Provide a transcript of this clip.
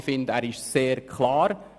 Ich finde, er ist sehr klar.